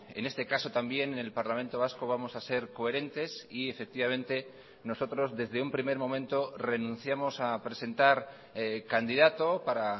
en este caso también en el parlamento vasco vamos a ser coherentes y efectivamente nosotros desde un primer momento renunciamos a presentar candidato para